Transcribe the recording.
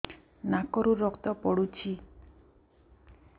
ନାକରୁ ରକ୍ତ ପଡୁଛି